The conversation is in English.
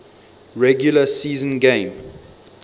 regular season game